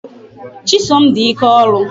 Chisom di ike ọrụ.